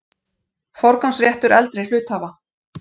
Forgangsréttur eldri hluthafa.